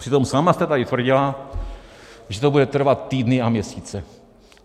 Přitom sama jste tady tvrdila, že to bude trvat týdny a měsíce.